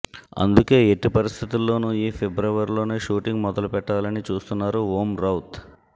అందుకే ఎట్టి పరిస్థితుల్లోనూ ఈ ఫిబ్రవరిలోనే షూటింగ్ మొదలుపెట్టాలని చూస్తున్నారు ఓం రౌత్